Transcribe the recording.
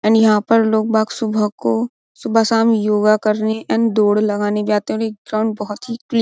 And यहाँ पर लोग बाग सुबह को सुबह-शाम योगा करने को एंड दोड लगाने जाते है। और यह ग्राउंड बहुत ही क्लीन --